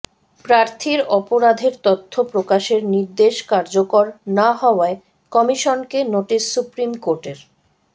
প্রার্থীর অপরাধের তথ্য প্রকাশের নির্দেশ কার্যকর না হওয়ায় কমিশনকে নোটিশ সুপ্রিম কোর্টের